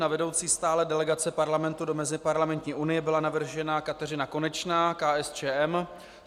Na vedoucí stálé delegace Parlamentu do Meziparlamentní unie byla navržena Kateřina Konečná - KSČM.